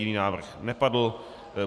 Jiný návrh nepadl.